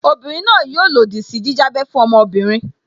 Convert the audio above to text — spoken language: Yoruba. Obinrin náà yóò lòdì sí jíjábẹ́ fún ọmọbìnrin